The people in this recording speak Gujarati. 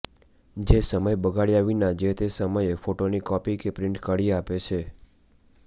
જે સમય બગાડ્યા વિના જે તે સમયે ફોટોની કોપી કે પ્રિન્ટ કાઢી આપે છે